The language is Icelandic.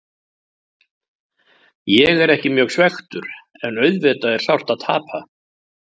Ég er ekki mjög svekktur en auðvitað er sárt að tapa.